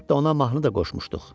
Hətta ona mahnı da qoşmuşduq.